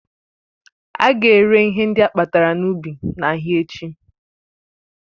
Ága ere ihe ndị akpatara n'ubi n'ahịa echi